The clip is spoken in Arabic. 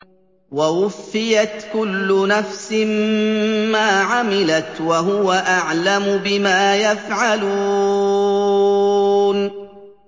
وَوُفِّيَتْ كُلُّ نَفْسٍ مَّا عَمِلَتْ وَهُوَ أَعْلَمُ بِمَا يَفْعَلُونَ